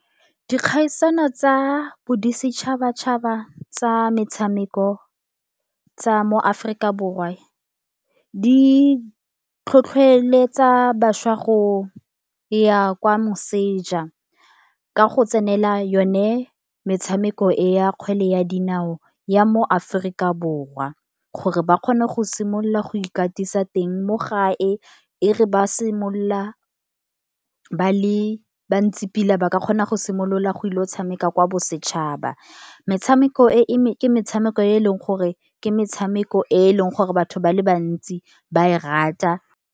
Dikgaisano tsa bodisetšhabatšhaba tsa metshameko tsa mo Aforika Borwa, di tlhotlhweletsa bašwa go ya kwa moseja. Ka go tsenela yone metshameko e, ya kgwele ya dinao ya mo Aforika Borwa. Gore ba kgone go simolola go ikatisa teng mo gae, e re ba simolola ba le bantsi pila ba ka kgona go simolola go ile o tshameka kwa bosetšhaba. Metshameko e, ke metshameko e e leng gore ke metshameko e, e leng gore batho ba le bantsi ba e rata.